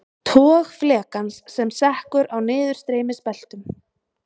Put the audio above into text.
Tog flekans sem sekkur á niðurstreymisbeltum.